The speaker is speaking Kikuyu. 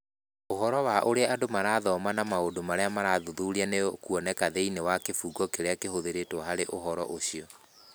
Ũhoro wa ũrĩa andũ marathoma na maũndũ marĩa marathuthuria nĩ ũkuoneka thĩinĩ wa kĩbungo kĩrĩa kĩhũthĩrĩtwo harĩ ũhoro ũcio.